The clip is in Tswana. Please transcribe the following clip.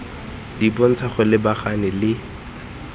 di bontsha go lebagana le